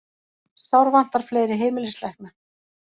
Sárvantar fleiri heimilislækna